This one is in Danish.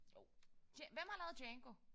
Jo. Hvem har lavet Django?